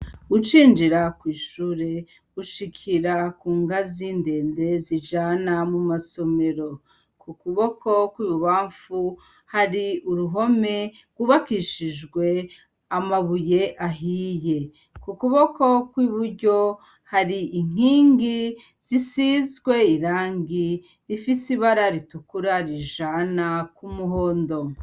Gucinjira kw'ishure ushikira ku nga ziindende zijana mu masomero ku kuboko kw'ibubamfu hari uruhome gubakishijwe amabuye ahiye ku kuboko kw'iburyo hari inkingi zisizwe rangi rifise ibara ritukura rijana kw'umuhondo.